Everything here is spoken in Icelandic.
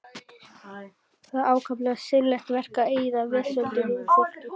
Það er ákaflega seinlegt verk að eyða vesöldinni úr fólki.